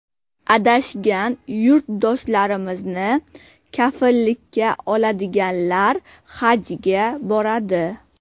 Adashgan yurtdoshlarimizni kafillikka oladiganlar Hajga boradi.